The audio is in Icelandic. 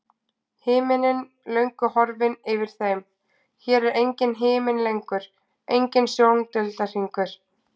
Himinninn löngu horfinn yfir þeim, hér er enginn himinn lengur, enginn sjóndeildarhringur.